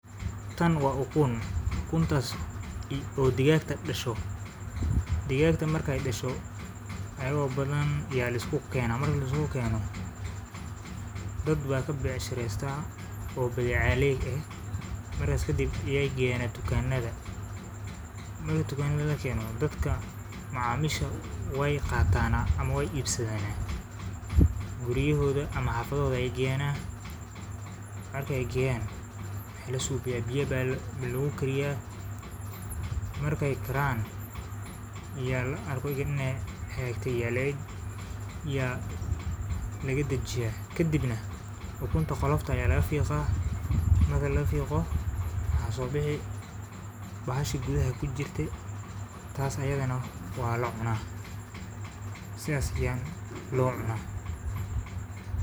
Tan waa ukun ukuntas oo digagta dasho marki ee dasho waa lisku kena dad aya ka becshirestan tukama ayey ku warejiyan sas waye marki ukunta xafada lageyo biya aya lagu kariya marka marki aa kariso waa cuni marka waa fiqi wana cuni sas aya losameya.